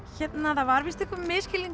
það var einhver